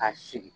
Ka sigi